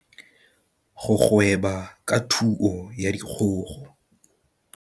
Go gweba ka thuo ya dikgogo.